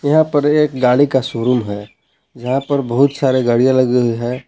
यहां पे एक गाड़ी का शोरूम है जहां पे बहुत सारे गाड़ियां लगी हुई हैं।